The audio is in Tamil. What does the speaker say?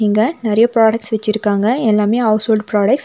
இங்க நெறைய ப்ராடக்ட்ஸ் வெச்சிருக்காங்க எல்லாமே ஹவுஸ் ஹோல்ட் ப்ராடெக்ட்ஸ் .